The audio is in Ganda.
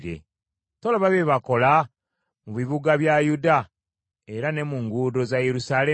Tolaba bye bakola mu bibuga bya Yuda era ne mu nguudo za Yerusaalemi?